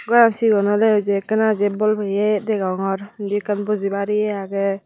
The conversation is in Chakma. goran sigon olyyo jey ekkena jey bol piyey degongor indi ekkan bujibar ye agey.